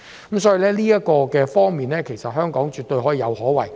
由此可見，香港在這方面絕對可以有所作為。